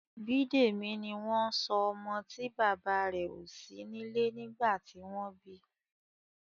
Bidemi ní wón sọ ọmọ tí bàbá rẹ o sí nílé nígbà tí wón bí